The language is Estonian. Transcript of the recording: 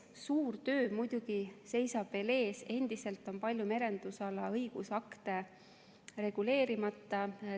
Suur töö seisab muidugi veel ees, endiselt on palju merendusala õigusakte reguleerimata.